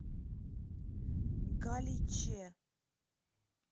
галиче